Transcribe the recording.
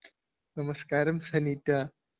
നമസ്‌കാരം ഫെനീറ്റ